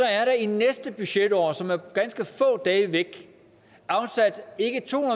er der i næste budgetår som er ganske få dage væk afsat ikke to